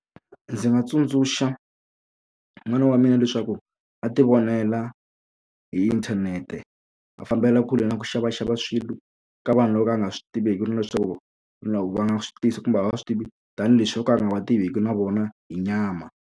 Ndzi nga tsundzuxa n'wana wa mina leswaku a ti vonela hi inthanete a fambela kule na ku xavaxava swilo ka vanhu loko a nga swi tiveki na leswaku loko va nga swi tisi kumbe a va swi tivi tanihileswi o ka a nga va tiveki na vona hi nyama.